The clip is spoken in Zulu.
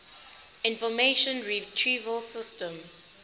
information retrieval system